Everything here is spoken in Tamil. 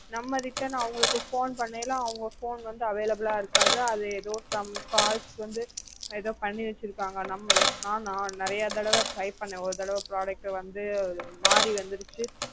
நம்ம return அவங்களுக்கு phone பண்ணையில அவங்க phone வந்து available ஆ இருக்காது அது ஏதோ some calls வந்து ஏதோ பண்ணி வச்சிருக்காங்க நம்ம நான் நிறைய தடவ try பண்ண ஒரு தடவை product வந்து மாறி வந்துடுச்சு